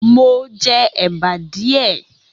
Mo jẹ èbá díẹ̀.